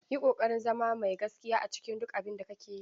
Yi ƙoƙarin zama mai gaskiya a cikin duk abin da kake yi.